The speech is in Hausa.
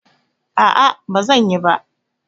No, I won't